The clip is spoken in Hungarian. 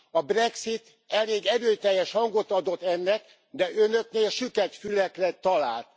A Brexit elég erőteljes hangot adott ennek, de Önöknél süket fülekre talál.